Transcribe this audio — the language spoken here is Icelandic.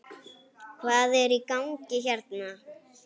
Hvað er í gangi hérna?